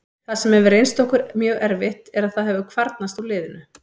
Það sem hefur reynst okkur mjög erfitt er að það hefur kvarnast úr liðinu.